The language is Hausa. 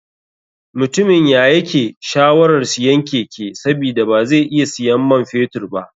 Mutumin yayake shawarar siyan keke sabida bazai iya siyan man fetur ba.